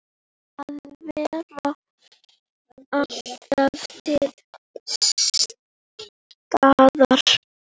Að vera alltaf til staðar.